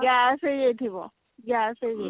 gas ହେଇଯାଇ ଥିବ gas ହେଇଯାଇ ଥିବ